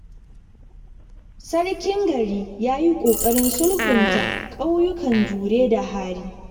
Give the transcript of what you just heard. Sarkin gari ya yi ƙoƙarin sulhunta ƙauyukan Jure da Hari.